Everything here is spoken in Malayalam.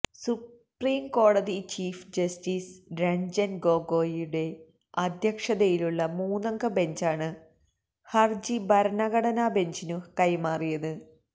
സുപ്രിം കോടതി ചീഫ് ജസ്റ്റീസ് രഞ്ജന് ഗോഗോയിയുടെ അധ്യക്ഷതയിലുള്ള മൂന്നംഗ ബെഞ്ചാണു ഹരജി ഭരണഘടനാബെഞ്ചിനു കൈമാറിയത്